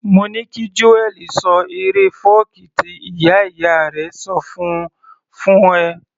Mo ní kí Joel ṣọ eré fọ́ọ̀kí tí ìyá ìyá rẹ̀ ṣọ fún -un fún ẹ